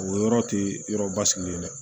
O yɔrɔ tɛ yɔrɔ basigilen dɛ